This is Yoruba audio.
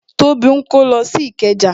Tóbi ń kó lọ sí ikeja